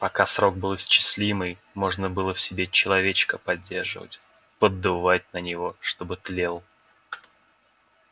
пока срок был исчислимый можно было в себе человечка поддерживать поддувать на него чтобы тлел